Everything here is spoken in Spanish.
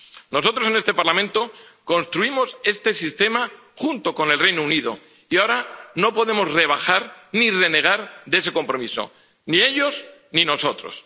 Nosotros en este Parlamento construimos este sistema junto con el Reino Unido y ahora no podemos rebajar ni renegar de ese compromiso, ni ellos ni nosotros.